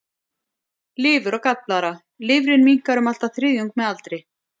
Lifur og gallblaðra Lifrin minnkar um allt að þriðjung með aldri.